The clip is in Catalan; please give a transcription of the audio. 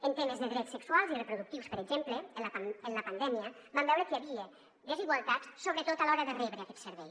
en temes de drets sexuals i reproductius per exemple en la pandèmia vam veure que hi havia desigualtats sobretot a l’hora de rebre aquest servei